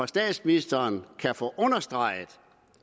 statsministeren kan få understreget